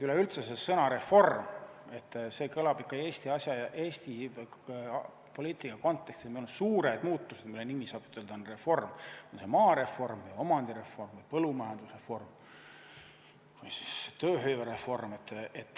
Üleüldse see sõna "reform", see kõlab Eesti asja ja Eesti poliitika kontekstis nii, et meil on suured muutused, mille nimi, saab ütelda, on reform, on see siis maareform, omandireform, põllumajandusreform või töövõimereform.